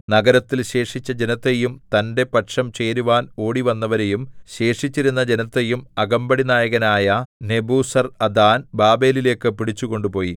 നഗരത്തിൽ ശേഷിച്ച ജനത്തെയും തന്റെ പക്ഷം ചേരുവാൻ ഓടിവന്നവരെയും ശേഷിച്ചിരുന്ന ജനത്തെയും അകമ്പടിനായകനായ നെബൂസർഅദാൻ ബാബേലിലേക്കു പിടിച്ചുകൊണ്ടുപോയി